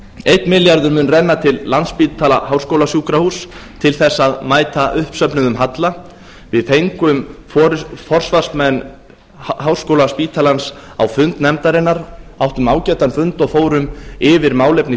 einn milljarður mun renna til landspítala háskólasjúkrahúss til að mæta uppsöfnuðum halla við fengum forsvarsmenn háskólaspítalans á fund nefndarinnar áttum ágætan fund og fórum yfir málefni